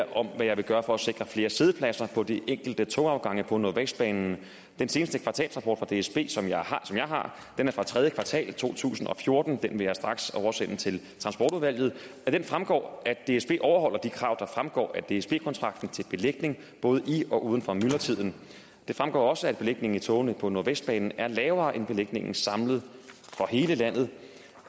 om hvad jeg vil gøre for at sikre flere siddepladser på de enkelte togafgange på nordvestbanen den seneste kvartalsrapport fra dsb som jeg har er fra tredje kvartal to tusind og fjorten og den vil jeg straks oversende til transportudvalget det fremgår at dsb overholder de krav der fremgår af dsb kontrakten til belægning både i og uden for myldretiden det fremgår også at belægningen i togene på nordvestbanen er lavere end belægningen samlet for hele landet